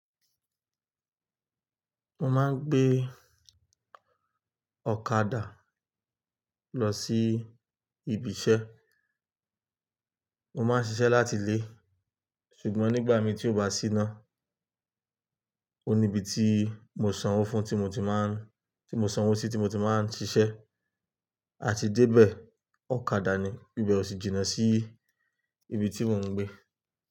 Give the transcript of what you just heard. Mo máa ń gbé ọ̀kadà lọ sí ibi iṣẹ́. Mo máa ń ṣiṣẹ́ láti ilé, ṣùgbọ́n nígbà mi tí ó bá sí iná, ó ní ibi tí mo sanwó fún tí mo ti máa ń, tí mo sanwó sí tí mo ti máa ń ṣiṣẹ́. A ti dé bẹ̀ ọ̀kadà ni íbẹ̀ o sì jìnnà sí ibi tí mò ń gbé.